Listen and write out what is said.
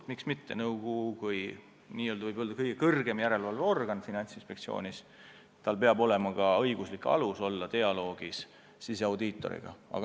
Ja miks mitte – nõukogul kui kõige kõrgemal järelevalveorganil Finantsinspektsioonis peab olema ka õiguslik alus pidada dialoogi siseaudiitoriga.